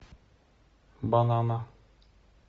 банана